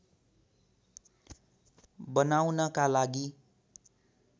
बनाउनका लागि